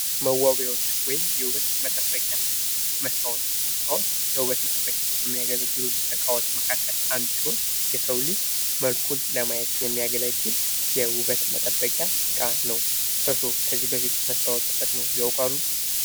መዋቢያዎች ወይም የውበት መጠበቂያ መስታወት። መስታወት ለውበት መጠበቂያ ከሚያገለግሉ እቃዎች መካከል አንዱ ሲሆን የሰው ልጅ መልኩን ለማዬት የሚያገለግል የውበት መጠበቂያ እቃ ነው። እርስዎ ከዚህ በፊት መስታዎት ተጠቅመው ያውቃሉ?